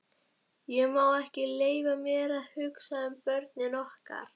Ég má ekki leyfa mér að hugsa um börnin okkar.